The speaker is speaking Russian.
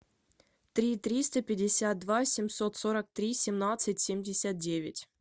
три триста пятьдесят два семьсот сорок три семнадцать семьдесят девять